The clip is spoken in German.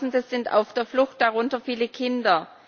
Hunderttausende sind auf der Flucht, darunter viele Kinder.